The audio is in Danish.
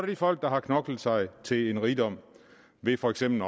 de folk der har knoklet sig til en rigdom ved for eksempel